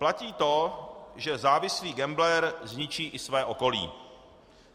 Platí to, že závislý gambler zničí i své okolí.